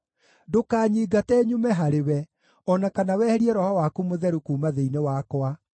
Ndũkanyingate nyume harĩwe, o na kana weherie Roho waku Mũtheru kuuma thĩinĩ wakwa.